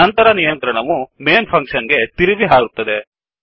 ನಂತರ ನಿಯಂತ್ರಣವು Mainಮೇನ್ ಫಂಕ್ಷನ್ ಗೆ ತಿರುಗಿ ಹಾರುತ್ತದೆ